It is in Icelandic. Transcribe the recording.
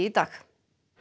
dag